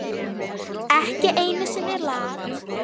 Ekki einu sinni Lat.